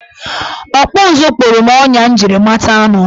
Ọkpụụzụ kpụrụ m ọnya m jiri mata anụ.